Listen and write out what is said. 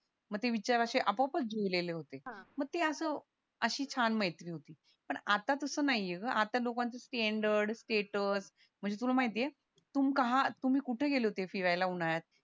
मग ते विचार अशे अपॉपच जुळलेले होते अशी छान मैत्री होती पण आत्ता तास नाहीये ग आता लोकांचं स्टँडर्ड सेटल म्हणजे तुला माहितीये आज तुम्ही कुठे होते फिरायला उन्हाळ्यात